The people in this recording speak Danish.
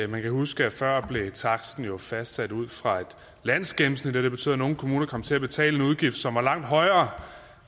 man kan huske at før blev taksten jo fastsat ud fra et landsgennemsnit og det betød at nogle kommuner kom til at betale en udgift som var langt højere